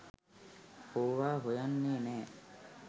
ඕවා හොයන්නෙ නෑ